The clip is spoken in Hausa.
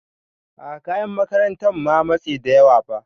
A'a kayan makarantan ma matse da yawa ba.